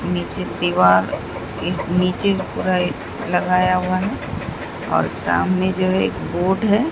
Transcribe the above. नीचे दीवार एक नीचे पूरा एक लगाया हुआ है और सामने जो है एक बोर्ड है।